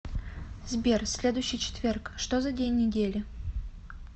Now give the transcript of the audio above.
сбер следующий четверг что за день недели